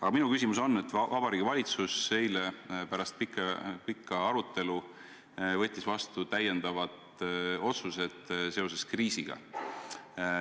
Aga minu küsimus on seotud sellega, et Vabariigi Valitsus võttis eile pärast pikka arutelu vastu täiendavad kriisi puudutavad otsused.